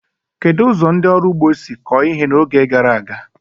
Kedu ụzọ ndị ọrụ ugbo si kọọ ihe n'oge gara aga?